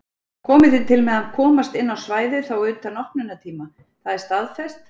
Komið þið til með að komast inn á svæðið þá utan opnunartíma, það er staðfest?